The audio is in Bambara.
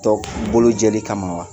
Tɔ bolojɛli kama wa